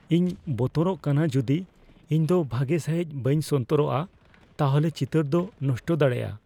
ᱤᱧ ᱵᱚᱛᱚᱨᱚᱜ ᱠᱟᱱᱟ ᱡᱩᱫᱤ ᱤᱧ ᱫᱚ ᱵᱷᱟᱜᱮ ᱥᱟᱹᱦᱤᱫ ᱵᱟᱹᱧ ᱥᱚᱱᱛᱚᱨᱚᱜᱼᱟ ᱛᱟᱦᱚᱞᱮ ᱪᱤᱛᱟᱹᱨ ᱫᱚ ᱱᱚᱥᱴᱚ ᱫᱟᱲᱮᱭᱟᱜᱼᱟ ᱾